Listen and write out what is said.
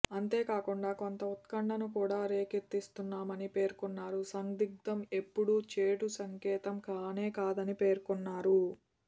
అంతేకాకుండా కొంత ఉత్కంఠను కూడా రేకెతిస్తున్నామని పేర్కొ న్నారు సందిగ్ధం ఎప్పుడూ చెడు సంకేతం కానేకాదని పేర్కొన్నారు